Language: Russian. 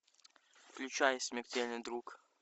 включай смертельный друг